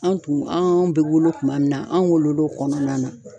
An tun an bɛ wolo kuma min na an wolola o kɔnɔna na.